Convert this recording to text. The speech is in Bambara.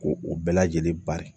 Ko o bɛɛ lajɛlen bari